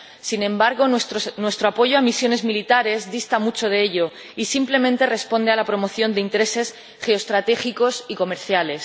Sin embargo, nuestro apoyo a misiones militares dista mucho de ello y simplemente responde a la promoción de intereses geoestratégicos y comerciales.